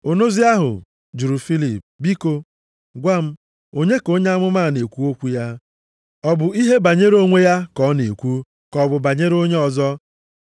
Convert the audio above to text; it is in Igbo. Onozi ahụ jụrụ Filip, “Biko, gwa m, onye ka onye amụma a na-ekwu okwu ya? Ọ bụ ihe banyere onwe ya ka ọ na-ekwu, ka ọ bụ banyere onye ọzọ?”